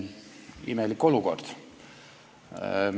Imelik olukord.